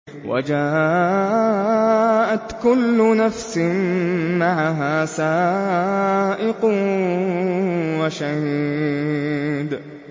وَجَاءَتْ كُلُّ نَفْسٍ مَّعَهَا سَائِقٌ وَشَهِيدٌ